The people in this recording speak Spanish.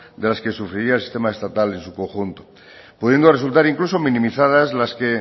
de las que sufriría el sistema estatal en su conjunto pudiendo resultar incluso minimizadas las que